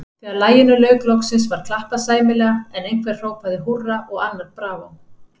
Þegar laginu lauk loksins, var klappað sæmilega, en einhver hrópaði húrra og annar bravó.